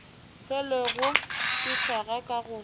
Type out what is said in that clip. hlwelego di hlaga ka go